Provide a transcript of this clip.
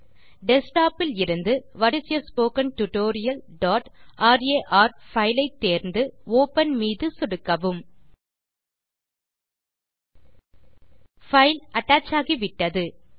desktop இலிருந்து what is a spoken tutorialரார் fileஐ தேர்ந்து ஒப்பன் மீது சொடுக்கவும் பைல் அட்டச் ஆகிவிட்டது